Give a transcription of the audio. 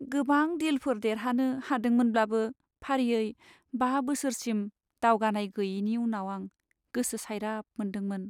गोबां डीलफोर देरहानो हादोंमोनब्लाबो फारियै बा बोसोरसिम दावगानाय गैयैनि उनाव आं गोसो सायराब मोनदांदोंमोन।